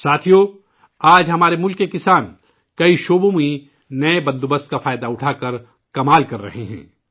ساتھیوں، آج ہمارے ملک کے کسان، کئی علاقوں میں نئے نظام کا فائدہ اٹھاکر کمال کر رہے ہیں